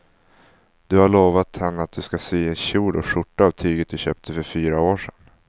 Du har lovat henne att du ska sy en kjol och skjorta av tyget du köpte för fyra år sedan.